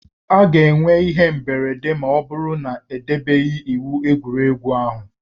A ga-enwe ihe mberede ma ọ bụrụ na edebeghị iwu egwuregwu ahụ